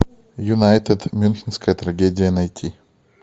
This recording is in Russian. юнайтед мюнхенская трагедия найти